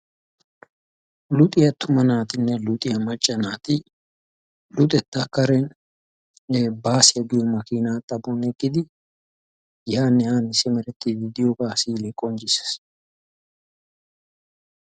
Luxiya attuma naatinne luxiya macca naati luxetta kareninne baasiya giyo makiina xaphon eqqidi yaanne haanne simerettiiddi diyogaa misilee qonccisses.